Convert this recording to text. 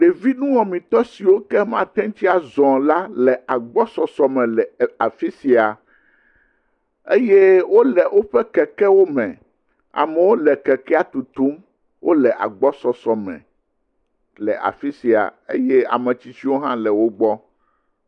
Ɖevi nuwɔmetɔ siwo ke mateŋ tsi azɔ o la le agbɔsɔsɔ me le afi ya eye wo le woƒe kekewo me. Amewo le kekea tutum. Wo le agbɔsɔsɔ me le afi sia eye ame tsitsiwo hã le wo gbɔ.